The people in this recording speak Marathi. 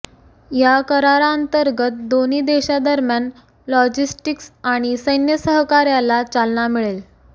या कराराअंतर्गत दोन्ही देशांदरम्यान लॉजिस्टिक्स आणि सैन्य सहकार्याला चालना मिळेल